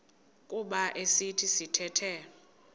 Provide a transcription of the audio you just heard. kuba esi sithethe